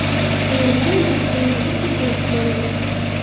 Turelar oilasida yana bir futbolchi bor edi.